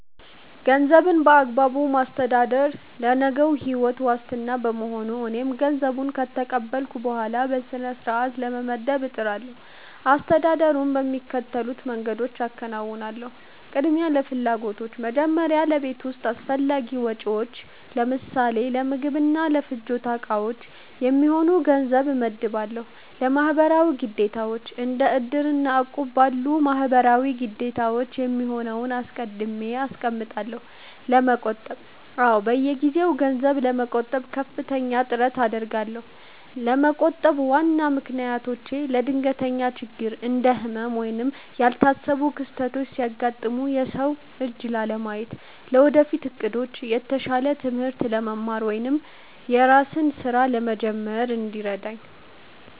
ገንዘብን በአግባቡ ማስተዳደር ለነገው ሕይወት ዋስትና በመሆኑ፣ እኔም ገንዘብ ከተቀበልኩ በኋላ በሥርዓት ለመመደብ እጥራለሁ። አስተዳደሩን በሚከተሉት መንገዶች አከናውናለሁ፦ ቅድሚያ ለፍላጎቶች፦ መጀመሪያ ለቤት ውስጥ አስፈላጊ ወጪዎች (ለምሳሌ ለምግብና ለፍጆታ ዕቃዎች) የሚሆነውን ገንዘብ እመድባለሁ። ለማህበራዊ ግዴታዎች፦ እንደ "እድር" እና "እቁብ" ላሉ ማህበራዊ ግዴታዎች የሚሆነውን አስቀድሜ አስቀምጣለሁ። መቆጠብ፦ አዎ፣ በየጊዜው ገንዘብ ለመቆጠብ ከፍተኛ ጥረት አደርጋለሁ። ለመቆጠብ ዋና ምክንያቶቼ፦ ለድንገተኛ ችግር፦ እንደ ህመም ወይም ያልታሰቡ ክስተቶች ሲያጋጥሙ የሰው እጅ ላለማየት። ለወደፊት ዕቅዶች፦ የተሻለ ትምህርት ለመማር ወይም የራስን ሥራ ለመጀመር እንዲረዳኝ።